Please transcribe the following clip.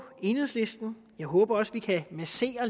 enhedslisten jeg håber også at vi kan massere